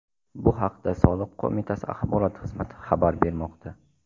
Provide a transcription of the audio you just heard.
Bu haqda soliq qo‘mitasi axborot xizmati xabar bermoqda.